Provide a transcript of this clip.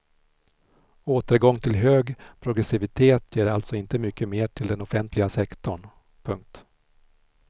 Återgång till hög progressivitet ger alltså inte mycket mer till den offentliga sektorn. punkt